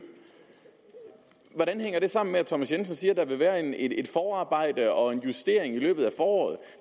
hvordan hænger det sammen med at herre thomas jensen siger at der vil være et forarbejde og en justering i løbet af foråret